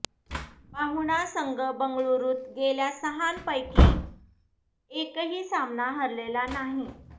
पाहुणा संघ बंगळूरुत गेल्या सहांपैकी एकही सामना हरलेला नाही